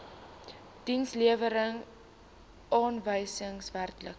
dienslewerings aanwysers werklike